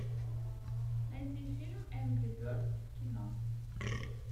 найди фильм энгри бердс в кино